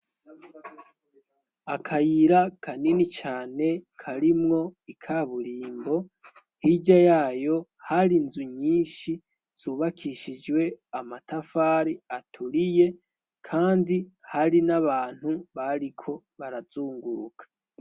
Akayira kanini cane karimwo ika burimbo hirya yayo hari inzu nyinshi subakishijwe amatafari aturiye, kandi hari n'abantu bariko barazunguruka.